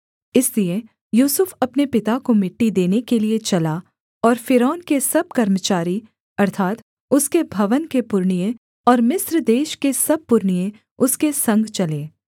इसलिए यूसुफ अपने पिता को मिट्टी देने के लिये चला और फ़िरौन के सब कर्मचारी अर्थात् उसके भवन के पुरनिये और मिस्र देश के सब पुरनिये उसके संग चले